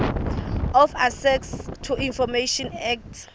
of access to information act